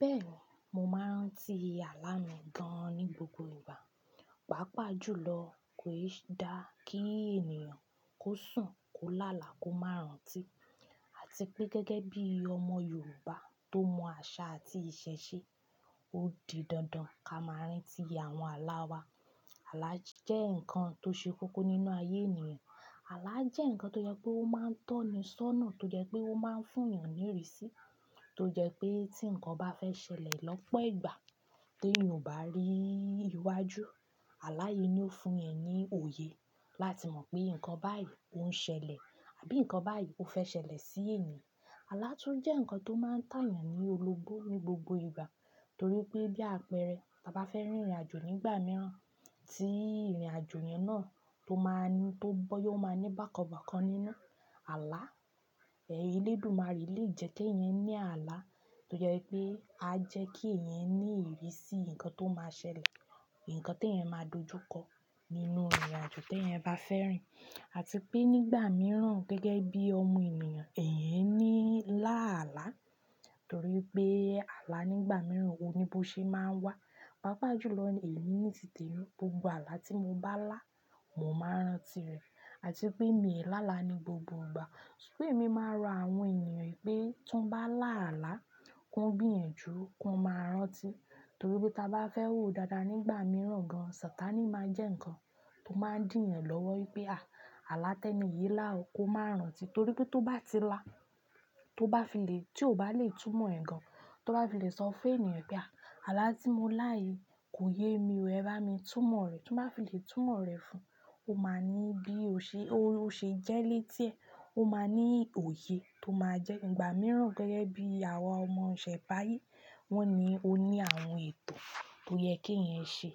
Bẹ́ẹ̀ni, mo máa rań ti àlá mi gan-an ní gbogbo ìgbà. Pàápàá jùlọ kò ṣe é dá kí ènìyàn kó sùn, kó lálàá, kó má rán ti. Àti pé gẹ́gẹ́ bí ọmọ Yorùbá tó mọ àṣà àti ìṣe ṣe, ó di dandan kí a máa rántí àwọn àlá wa. Àlá jẹ́ ǹkan tó ṣe kókó nínú ayé ènìyàn. Àlá jẹ́ ǹkan tó jẹ́ pé ó máa ń tọ́ni sónà, tó jẹ́ pé ó máa ń fún ènìyàn ní ìrísí, tó jẹ́ pé tí ǹkan bá fẹ́ ṣẹlẹ̀ lọ́pọ̀ ìgbà tí ènìyàn ò bá rí iwájú, àlá yìí ni ó fún ẹ ní òye láti mọ̀ pé ǹkan báyìí ó ń ṣẹlẹ̀ àbí ǹkan báyìí ó fẹ́ ṣẹlẹ̀ sí ènìyàn. Àlá tún jẹ́ ǹkan tó máa ń tà ènìyàn ní olóbó ní gbogbo ìgbà torí pé bí àpẹẹrẹ, tí a bá fẹ́ rìnrìn àjò nígbà mìíràn tí ìrìn àjò yẹn náà tó máa ní, tó bọ́ yó máa ní bàkan bákan nínú, àlá, ẹ̀yin Elédùmarè lè jẹ́ kí ẹ̀yin ní àlá tó jẹ́ pé a jẹ́ kí ẹ̀yin ní ìrísí ǹkan tó máa ṣẹlẹ̀, ǹkan tí ẹ̀yin máa dojú kọ nínú ìrìn àjò tí ẹ̀eyan bá fẹ́ rìn. Àti pé nígbà mìíràn gẹ́gẹ́ bí ọmọ ènìyàn, ẹ̀yin ní láàlá torí pé àlá nígbà mìíràn ò ní bó ṣe máa wá. Pàápàá jùlọ èmi ní tì te mi, gbogbo àlá tí mo bá lá, mo máa rántí rẹ̀. Àti pé èmi ò láàlá ní gbogbo ìgbà ṣùgbọ́n èmi máa ń rò àwọn ènìyàn pé tí wọ́n bá lá àlá, kí wọ́n gbéyanjù, kí wọ́n máa rántí. Torí pé tí a bá fẹ́ hù dáadáa nígbà mìíràn gan, Sataní máa jẹ́ ǹkan tó máa ń dín ènìyàn lọ́wọ́ wípé à, àlá tẹ́ni yìí lá, kó máa rántí. Torí pé tó bá ti lá, tó bá fi lè, tí ò bá lè túmọ̀ ẹ̀ gan, tó bá fi lè sọ fún ènìyàn pé à, àlá tí mo lá yìí kò yé mi rẹ, bá mi túmọ̀ rẹ̀. Tí wọ́n bá fi lè túmọ̀ rẹ̀ fún un, ó máa ní bí ó ṣe, ó ṣe jẹ́ létí ẹ̀. Ó máa ní òye tó máa jẹ́. Nígbà mìíràn gẹ́gẹ́ bí àwa ọmọ Òṣẹ̀ báaye, wọ́n ní o ní àwọn ètò tó yẹ kí ẹ̀yan ṣe